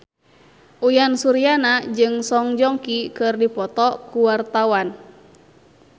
Uyan Suryana jeung Song Joong Ki keur dipoto ku wartawan